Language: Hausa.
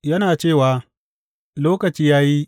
Yana cewa, Lokaci ya yi.